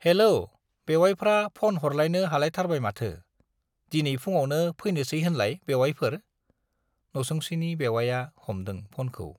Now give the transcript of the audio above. Hello बेउवाइफ्रा phone हरलायनो हालायथारबाय माथो? दिनै फुङावनो फैनोसै होनलाय बेउवाइफोर? नसुंसेनि बेउवाइया हमदों फ'नखौ।